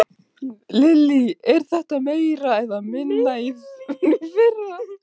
Lillý: Er þetta meira eða minna en í fyrra?